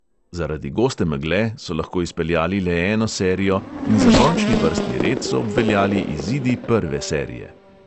Zaradi goste megle so lahko izpeljali le eno serijo in za končni vrstni red so obveljali izidi prve serije.